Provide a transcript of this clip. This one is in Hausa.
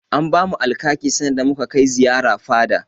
An bamu Alkaki sanda muka kai ziyara fada.